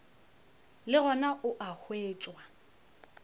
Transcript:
le gona o a hwetšwa